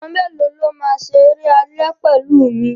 Àwọn mélòó ló máa ṣeré alẹ́ pẹ̀lú mi?